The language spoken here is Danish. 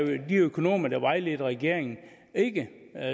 de økonomer der vejledte regeringen ikke